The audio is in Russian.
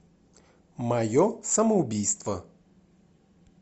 мое самоубийство